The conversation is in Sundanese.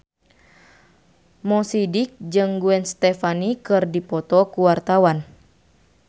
Mo Sidik jeung Gwen Stefani keur dipoto ku wartawan